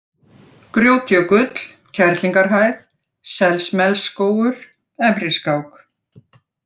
Grjótjökull, Kerlingarhæð, Selsmelsskógur, Efriskák